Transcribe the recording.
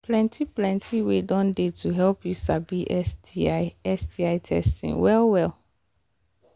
plenty plenty way don they to help you sabi sti sti testing well well